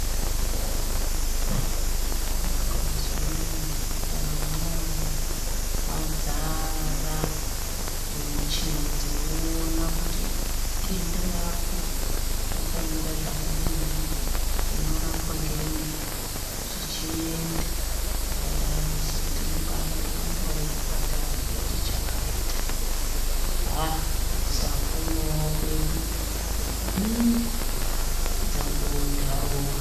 Mazuwaanaa muzvipataramwo mwadzara ngemichini dzinoona kuti denda rako rakamira zvakadini rinorapwa ngei zvichienda zvakadaro saka tinombaada kubonga muzvipatara zvati chakata haaa kusaponawo kwedu hiiii dzangovawo ntarowo haa...